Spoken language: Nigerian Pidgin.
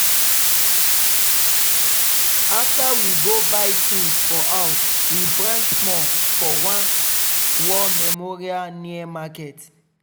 after we go buy things for house we branch small for one war memorial near market.